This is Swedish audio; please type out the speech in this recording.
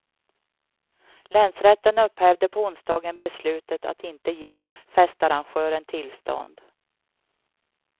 Länsrätten upphävde på onsdagen beslutet att inte ge festarrangören tillstånd.